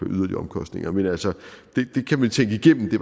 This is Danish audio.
yderligere omkostninger men altså det kan man tænke igennem det